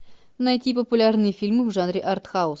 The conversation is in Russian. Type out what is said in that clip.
найти популярные фильмы в жанре артхаус